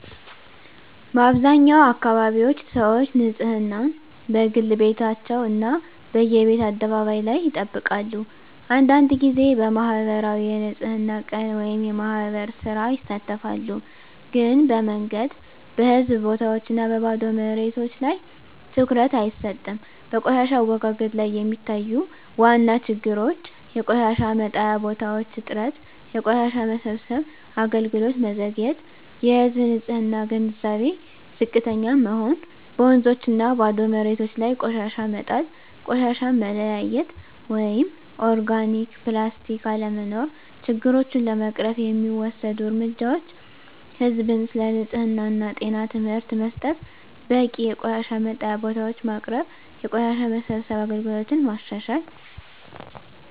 በአብዛኛው አካባቢዎች ሰዎች ንፅህናን፦ በግል ቤታቸው እና በየቤት አደባባይ ላይ ይጠብቃሉ አንዳንድ ጊዜ በማኅበራዊ የንፅህና ቀን (የማህበር ሥራ) ይሳተፋሉ ግን በመንገድ፣ በህዝብ ቦታዎች እና በባዶ መሬቶች ላይ ትኩረት አይሰጥም በቆሻሻ አወጋገድ ላይ የሚታዩ ዋና ችግሮች የቆሻሻ መጣያ ቦታዎች እጥረት የቆሻሻ መሰብሰብ አገልግሎት መዘግየት የህዝብ ንፅህና ግንዛቤ ዝቅተኛ መሆን በወንዞችና ባዶ መሬቶች ላይ ቆሻሻ መጣል ቆሻሻ መለያየት (ኦርጋኒክ/ፕላስቲክ) አለመኖር ችግሮቹን ለመቅረፍ የሚወሰዱ እርምጃዎች ህዝብን ስለ ንፅህና እና ጤና ትምህርት መስጠት በቂ የቆሻሻ መጣያ ቦታዎች ማቅረብ የቆሻሻ መሰብሰብ አገልግሎትን ማሻሻል